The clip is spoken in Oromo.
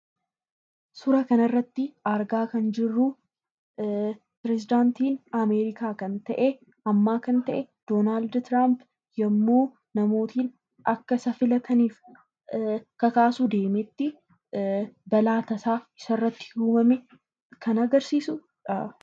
Suuraa kana irratti argaa kan jirruu, peresedaantii Ameerikaa ammaa kan ta'e Doonaald Tiraampi yemmuu namoonni akka isa filataniif kakaasuu deemetti balaa tasaa isa irratti uumame kan agarsiisudha.